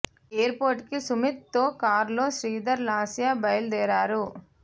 air port కి సుమీత్ తో కార్లో శ్రీధర్ లాస్య బయలు దేరారు